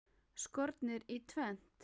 Skornir í tvennt.